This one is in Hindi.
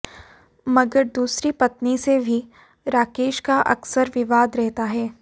मगर दूसरी पत्नी से भी राकेश का अक्सर विवाद रहता है